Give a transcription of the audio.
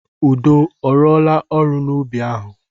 Udo a rụọla ọrụ n'ubi ahụ?